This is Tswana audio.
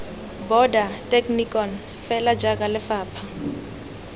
border technikon fela jaaka lefapha